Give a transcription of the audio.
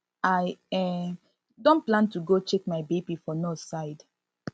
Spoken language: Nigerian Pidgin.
i um don plan to go check my bp for nurse side